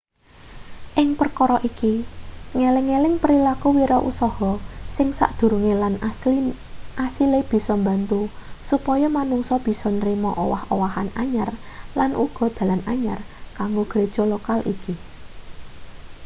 ing perkara iki ngeling-eling prilaku wirausaha sing sadurunge lan asile bisa mbantu supaya manungsa bisa nrima owah-owahan anyar lan uga dalan anyar kanggo gereja lokal iki